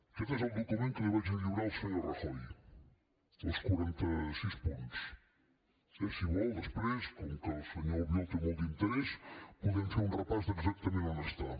aquest és el document que li vaig a lliurar al senyor rajoy els quaranta sis punts eh si vol després com que el senyor albiol hi té molt d’interès podem fer un repàs d’exactament on està